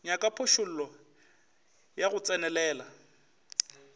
nyaka phošollo ya go tsenelela